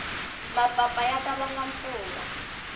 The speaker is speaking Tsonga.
mapapa ya ta vanga mpfula